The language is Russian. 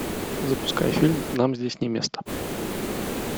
запускай фильм нам здесь не место